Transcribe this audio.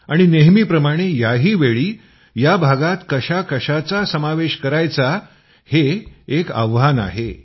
आणि नेहमीप्रमाणे याहीवेळी या भागात कशाकशाचा समावेश करायचा हे एक आव्हान आहे